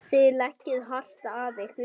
Þið leggið hart að ykkur.